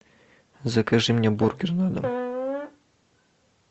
закажи мне бургер на дом